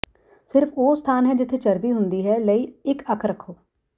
ਸਿਰਫ ਉਹ ਸਥਾਨ ਹੈ ਜਿੱਥੇ ਚਰਬੀ ਹੁੰਦੀ ਹੈ ਲਈ ਇੱਕ ਅੱਖ ਰੱਖੋ